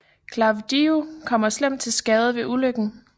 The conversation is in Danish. Klavdiju kommer slemt til skade ved ulykken